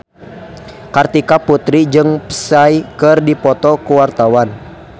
Kartika Putri jeung Psy keur dipoto ku wartawan